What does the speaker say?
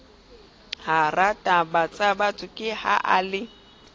hatabatsabatho ke ha a le